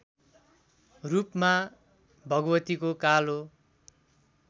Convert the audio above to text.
रूपमा भगवतीको कालो